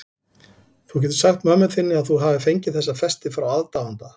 Þú getur sagt mömmu þinni að þú hafir fengið þessa festi frá aðdáanda.